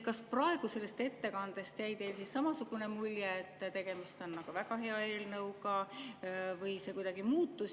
Kas praegu sellest ettekandest jäi teile samasugune mulje, et tegemist on väga hea eelnõuga, või see kuidagi muutus?